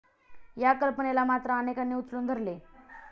या कल्पनेला मात्र अनेकांनी उचलून धरले.